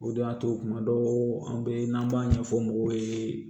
O de y'a to kuma dɔw an bɛ n'an b'a ɲɛfɔ mɔgɔw ye